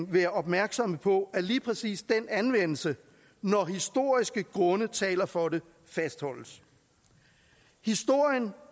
være opmærksomme på at lige præcis den anvendelse når historiske grunde taler for det fastholdes historien